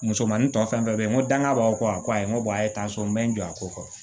Musomanin tɔ fɛn fɛn bɛ yen n ko danga b'aw kɔ a ko ayi n ko tansɔn bɛ n jɔ a ko kɔ